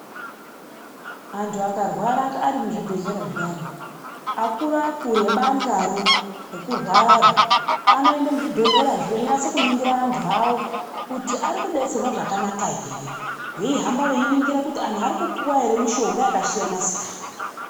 Antu akarwara ari muzvibhedhlera zviyani, akuru akuru ebandlaro rekurwararo, anoenda muzvibhedhlerazvo eninasakuningira antu awo kuti ari kudetserwa zvakanaka here. Veihamba veiningira kuti antu ari kupuwa ere mitombo yakasiyana siyana.